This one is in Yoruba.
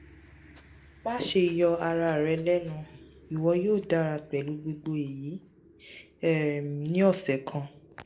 maṣe yọ ara rẹ lẹnu iwọ yoo dara pẹlu gbogbo eyi um ni ọsẹ kan